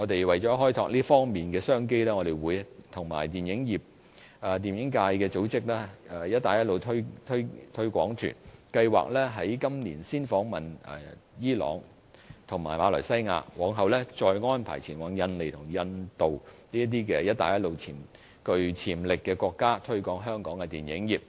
為開拓這方面的商機，我們會與電影界組織"一帶一路"推廣團，計劃今年先訪問伊朗和馬來西亞，往後再安排前往印尼和印度等"一帶一路"具潛力的國家，推廣香港的電影業。